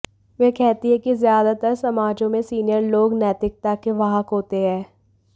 वे कहती हैं कि ज्यादातर समाजों में सीनियर लोग नैतिकता के वाहक होते हैं